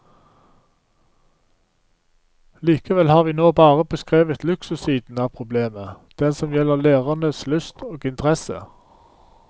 Likevel har vi nå bare beskrevet luksussiden av problemet, den som gjelder lærernes lyst og interesse.